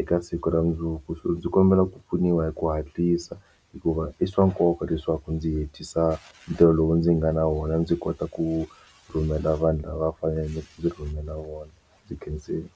eka siku ra mundzuku ndzi kombela ku pfuniwa hi ku hatlisa hikuva i swa nkoka leswaku ndzi hetisa ntirho lowu ndzi nga na wona ndzi kota ku rhumela vanhu lava faneleke ndzi rhumela wona ndzi khensile.